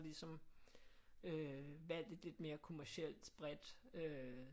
Ligesom øh hvad er det lidt mere kommercielt bredt